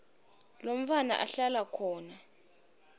lomntfwana ahlala khona